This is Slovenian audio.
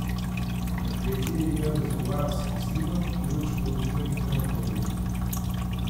V kleti je imel rezervoar s kislino, kirurško mizo in krematorij.